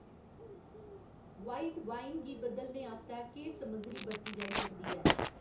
White wine गी बदलने आस्तै केह् समग्गरी बरती जाई सकदी ऐ?